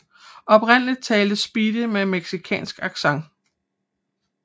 Oprindeligt talte Speedy med mexicansk accent